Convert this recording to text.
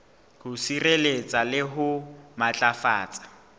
ho sireletsa le ho matlafatsa